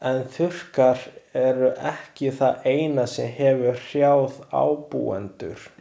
En þurrkar eru ekki það eina sem hefur hrjáð ábúendur.